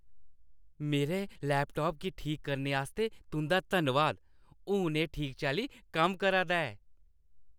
मेरे लैपटाप गी ठीक करने आस्तै तुंʼदा धन्नवाद। हून एह् ठीक चाल्ली कम्म करा दा ऐ।